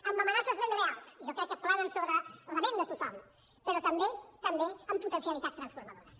amb amenaces ben reals i jo crec que planen sobre la ment de tothom però també també amb potencialitats transformadores